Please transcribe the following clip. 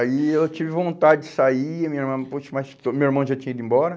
Aí eu tive vontade de sair, mas meu irmão já tinha ido embora.